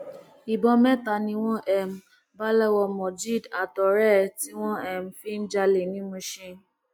ìbọn mẹta ni wọn um bá lọwọ mojeed àtọrẹ ẹ tí wọn um fi ń jalè ní mushin